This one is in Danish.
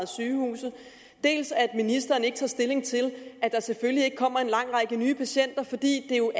sygehuse dels at ministeren ikke tager stilling til at der selvfølgelig ikke kommer en lang række nye patienter fordi det jo